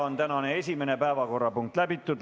Tänane esimene päevakorrapunkt on läbitud.